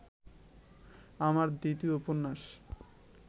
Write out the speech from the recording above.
আমার দ্বিতীয় উপন্যাস